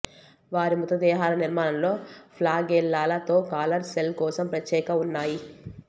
వారి మృతదేహాలు నిర్మాణంలో ఫ్లాగెల్లాల తో కాలర్ సెల్ కోసం ప్రత్యేక ఉన్నాయి